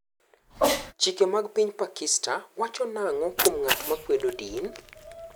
Chike mag piny Pakista wacho nang'o kuom ng'at ma kwedo din?